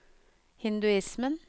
hinduismen